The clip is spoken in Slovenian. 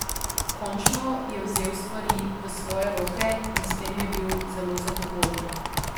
Končno je vzel stvari v svoje roke in s tem je bil zelo zadovoljen.